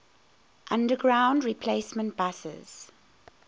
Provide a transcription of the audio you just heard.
underground replacement buses